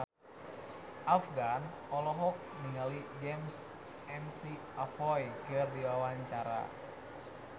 Afgan olohok ningali James McAvoy keur diwawancara